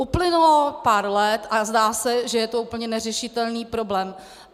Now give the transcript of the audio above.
Uplynulo pár let a zdá se, že je to úplně neřešitelný problém.